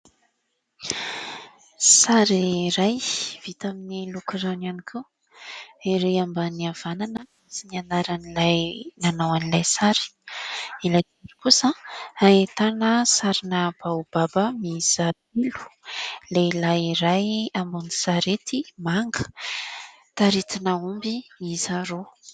Sary iray vita amin'ny loko rano ihany koa, ery ambany havanana misy ny anaran'ilay nanao an'ilay sary, ilay loko kosa ahitana sarina baobaba mihisa roa, lehilahy iray ambony sarety manga, taritina omby mihisa roa.